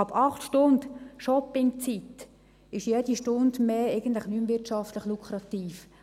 Ab 8 Stunden Shoppingzeit ist jede Stunde mehr wirtschaftlich eigentlich nicht mehr lukrativ.